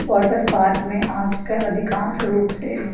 water park में आज-कल अधिकांश रूप से--